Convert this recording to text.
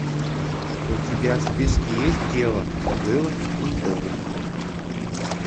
у тебя в списке есть дело было в пенькове